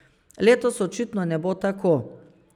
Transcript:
Letos očitno ne bo tako.